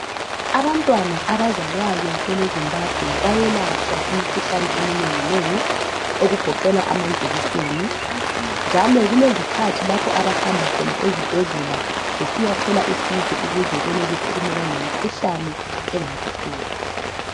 Abantwana abazalwayo kweleZimbabwe bayelatshwa imikhuhlane eminengi nengi okugoqela amajekiseni njalo kulezikhathi lapho abahamba khona ezibhedlela besiyathola usizo ukuze benelise ukumelana lemikhuhlane engabahlupha.